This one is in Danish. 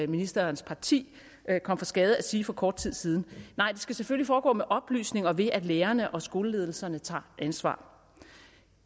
ministerens parti kom for skade at sige for kort tid siden nej det skal selvfølgelig foregå med oplysning og ved at lærerne og skoleledelserne tager ansvar